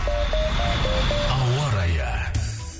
ауа райы